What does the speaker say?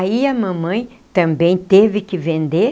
Aí a mamãe também teve que vender.